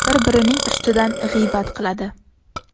Bir-birining ustidan g‘iybat qiladi.